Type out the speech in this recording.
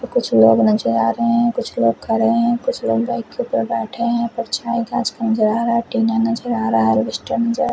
तो कुछ लोग नजर आ रहे हैं कुछ लोग खड़े हैं कुछ लोग बाइक के ऊपर बैठे हैं परछाई नजर आ रहा है टीना नजर आ रहा है स्टैंड नजर--